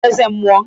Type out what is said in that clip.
Onye bụ eze mmụọ?